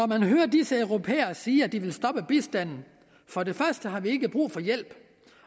man hører disse europæere sige at de vil stoppe bistanden for det første har vi ikke brug for hjælp